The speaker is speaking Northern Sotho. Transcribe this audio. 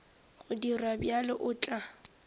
go dira bjalo o tla